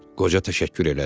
Qoca təşəkkür elədi.